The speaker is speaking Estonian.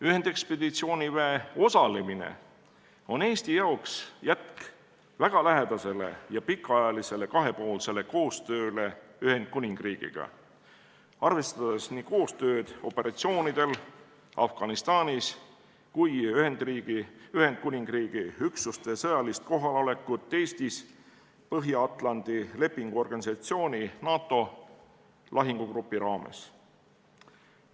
Ühendekspeditsiooniväe osalemine on Eestile jätk väga lähedasele ja pikaajalisele kahepoolsele koostööle Ühendkuningriigiga, arvestades nii koostööd operatsioonidel Afganistanis kui ka Ühendkuningriigi üksuste sõjalist kohalolekut Eestis Põhja-Atlandi Lepingu Organisatsiooni lahingugrupi raames.